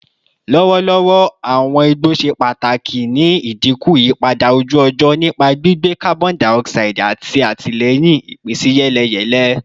Lọwọlọwọ, awọn igbo ṣe ipa pataki ni idinku iyipada oju-ọjọ nipa gbigbe carbon dioxide ati atilẹyin ipinsiyeleyele.